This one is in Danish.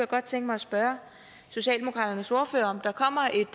godt tænke mig at spørge socialdemokratiets ordfører om der kommer et